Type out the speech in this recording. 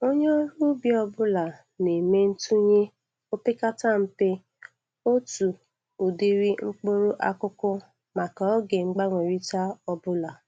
Onye ọrụ ubi ọbụla na-eme ntụnye o pekata mpe otu ụdịrị mkpụrụ akụkụ maka oge mgbanwerịta ọbụla.